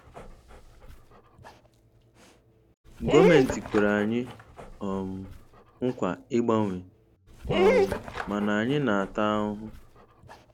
Gọọmentị kwere anyị um nkwa ịgbanwe um mana anyị na-ata ahụhụ.